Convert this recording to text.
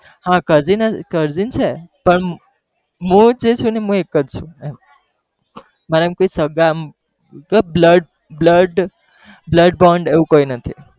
હા cousin છે પણ મૂળ જે છે ને એ હું એક જ છુ મારા એમ કોઈ સાગા એમ જો blood blood blood bond એવું કોઈ નથી.